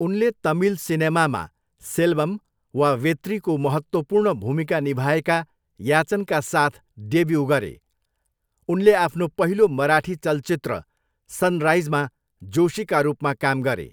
उनले तमिल सिनेमामा सेल्वम वा वेत्रीको महत्त्वपूर्ण भूमिका निभाएका याचनका साथ डेब्यू गरे, उनले आफ्नो पहिलो मराठी चलचित्र सनराइजमा जोशीका रूपमा काम गरे।